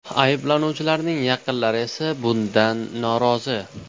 Ayblanuvchilarning yaqinlari esa bundan norozi.